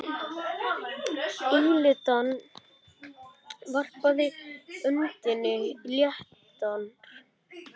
Elítan varpaði öndinni léttar.